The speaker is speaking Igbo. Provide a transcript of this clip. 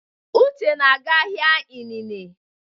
Uche na-aga ahịa inine.